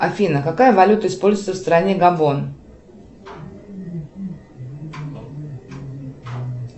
афина какая валюта используется в стране габон